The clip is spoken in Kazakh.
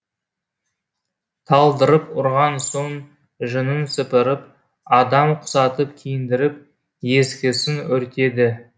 талдырып ұрған соң жүнін сыпырып адам құсатып киіндіріп ескісін өртеді